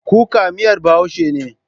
Kuka miyar Bahaushe ne.